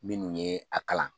Minnu ye a kalan.